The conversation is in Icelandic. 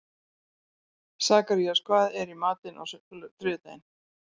Sakarías, hvað er í matinn á þriðjudaginn?